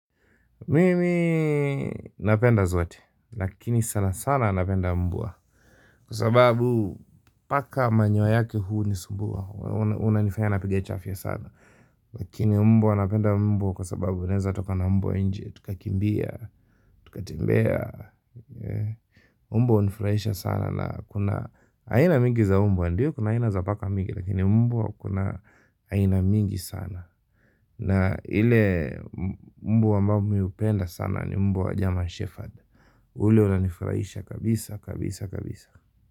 Mimi napenda zote, lakini sana sana napenda mbwa kwa sababu paka manyoya yake hunisumbua, unanifaya napiga chafya sana lakini mbwa napenda mbwa kwa sababu unaeza toka na mbwa nje, tukakimbia, tukatembea mbwa hunifurahisha sana na kuna, aina mingi za mbwa, ndiyo kuna aina za paka mingi lakini mbwa kuna aina mingi sana na ile mbwa ambayo mi hupenda sana ni mbwa wa German Shepherd ule unanifurahisha kabisa kabisa.